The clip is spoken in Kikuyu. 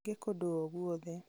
na angĩ kũndũ o guothe